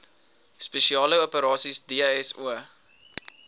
spesiale operasies dso